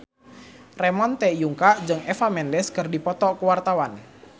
Ramon T. Yungka jeung Eva Mendes keur dipoto ku wartawan